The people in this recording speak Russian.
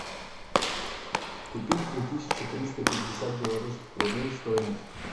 купить две тысячи триста пятьдесят белорусских рублей стоимость